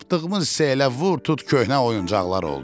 Tapdığımız isə elə vur tut köhnə oyuncaqlar oldu.